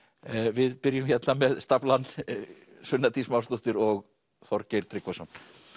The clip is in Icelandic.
við byrjum hérna með staflann sunna Dís Másdóttir og Þorgeir Tryggvason